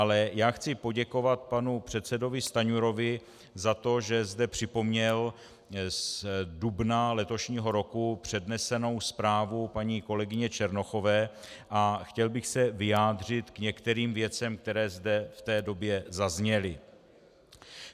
Ale já chci poděkovat panu předsedovi Stanjurovi za to, že zde připomněl z dubna letošního roku přednesenou zprávu paní kolegyně Černochové, a chtěl bych se vyjádřit k některým vědem, které zde v té době zazněly.